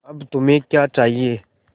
अब तुम्हें क्या चाहिए